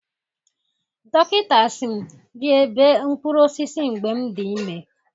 Dọkịta si m rịebe mkpụrụ osịsị mgbe m dị ime